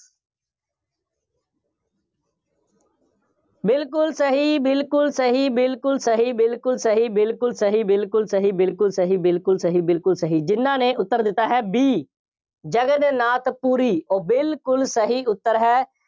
ਬਿਲਕੁੱਲ ਸਹੀ, ਬਿਲਕੁੱਲ ਸਹੀ, ਬਿਲਕੁੱਲ ਸਹੀ, ਬਿਲਕੁੱਲ ਸਹੀ, ਬਿਲਕੁੱਲ ਸਹੀ, ਬਿਲਕੁੱਲ ਸਹੀ, ਬਿਲਕੁੱਲ ਸਹੀ, ਬਿਲਕੁੱਲ ਸਹੀ, ਬਿਲਕੁੱਲ ਸਹੀ, ਜਿੰਨ੍ਹਾ ਨੇ ਉੱਤਰ ਦਿੱਤਾ ਹੈ B ਜਗਨ-ਨਾਥ ਪੁਰੀ, ਉਹ ਬਿਲਕੁੱਲ ਸਹੀ ਉੱਤਰ ਹੈ।